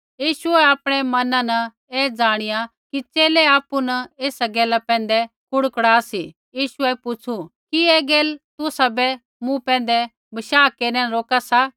यीशुऐ आपणै मना न ऐ ज़ाणिया कि च़ेले आपु न ऐसा गैला पैंधै कुड़कुड़ा सी यीशुऐ पुछ़ु कि ऐ गैला तुसाबै मूँ पैंधै बशाह केरनै न रोका सा